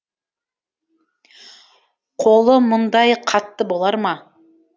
қолы мұндай қатты болар ма